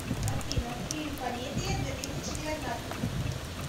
афина фильм комедия две тысячи девятнадцатый